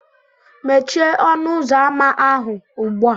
Mechie ọnụ ụzọ ámá ahụ ugbu a!